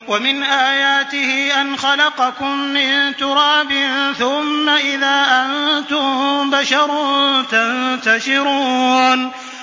وَمِنْ آيَاتِهِ أَنْ خَلَقَكُم مِّن تُرَابٍ ثُمَّ إِذَا أَنتُم بَشَرٌ تَنتَشِرُونَ